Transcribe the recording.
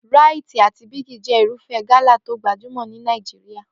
Ràìtì àti Bíìgì jẹ́ irúfẹ́ gala tó gbajúmò ni Nàìjíríà